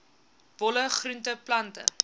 bolle groente plante